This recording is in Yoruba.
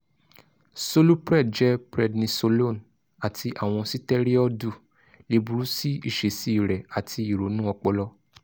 solupred jẹ prednisolone ati awọn sitẹriọdu le buru si iṣesi rẹ ati ironu ọpọlọ